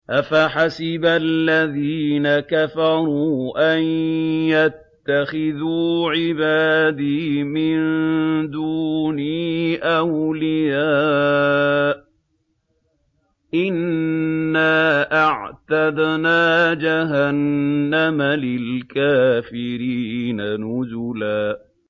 أَفَحَسِبَ الَّذِينَ كَفَرُوا أَن يَتَّخِذُوا عِبَادِي مِن دُونِي أَوْلِيَاءَ ۚ إِنَّا أَعْتَدْنَا جَهَنَّمَ لِلْكَافِرِينَ نُزُلًا